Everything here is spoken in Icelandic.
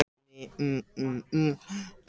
Hún hefur fengið mun minni athygli en vert væri.